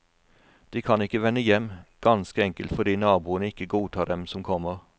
De kan ikke vende hjem, ganske enkelt fordi naboene ikke godtar dem som kommer.